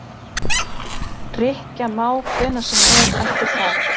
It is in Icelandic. Rykkja má hvenær sem er eftir það.